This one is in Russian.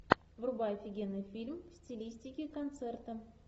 врубай офигенный фильм в стилистике концерта